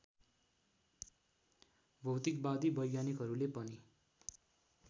भौतिकवादी वैज्ञानिकहरूले पनि